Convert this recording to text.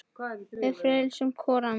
Við feisum hvor ann